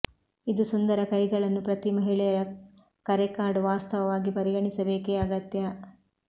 ಇದು ಸುಂದರ ಕೈಗಳನ್ನು ಪ್ರತಿ ಮಹಿಳೆಯ ಕರೆ ಕಾರ್ಡ್ ವಾಸ್ತವವಾಗಿ ಪರಿಗಣಿಸಬೇಕೆ ಅಗತ್ಯ